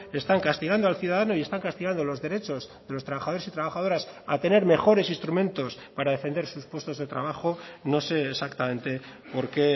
están castigando al ciudadano y están castigando los derechos de los trabajadores y trabajadoras a tener mejores instrumentos para defender sus puestos de trabajo no sé exactamente por qué